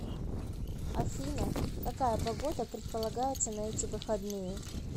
афина какая погода предполагается на эти выходные